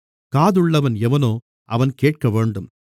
காதுள்ளவன் எவனோ அவன் கேட்கவேண்டும்